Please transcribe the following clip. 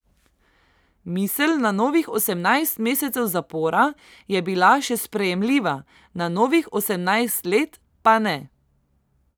Misel na novih osemnajst mesecev zapora je bila še sprejemljiva, na novih osemnajst let pa ne.